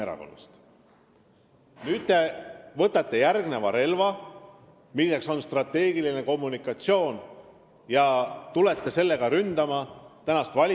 Nüüd te võtate järgmise relva, milleks on strateegiline kommunikatsioon, ja tulete sellega valitsust ründama.